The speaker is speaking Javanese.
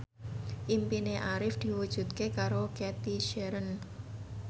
impine Arif diwujudke karo Cathy Sharon